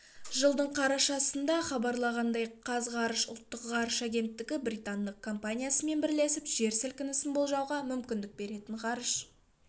жылдың қарашасында хабарланғандай қазғарыш ұлттық ғарыш агенттігі британдық компаниясымен бірлесіп жер сілкінісін болжауға мүмкіндік беретін ғарыш